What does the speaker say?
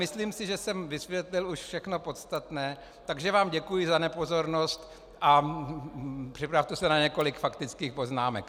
Myslím si, že jsem vysvětlil už všechno podstatné, takže vám děkuji za nepozornost a připravte se na několik faktických poznámek.